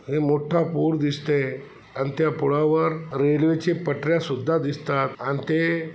हे मोठं पूल दिसते आणि त्या पुलावर रेल्वेचे पटाऱ्या सुद्धा दिसतात आणि ते --